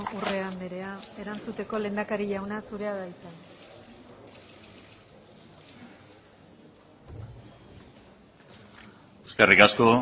urrea andrea erantzuteko lehendakari jauna zurea da hitza eskerrik asko